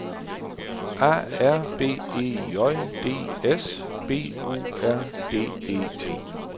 A R B E J D S B O R D E T